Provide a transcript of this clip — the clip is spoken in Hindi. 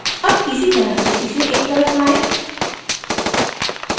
अब इसी तरह इसे एक तरफ लाएं